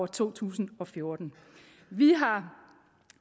to tusind og fjorten vi har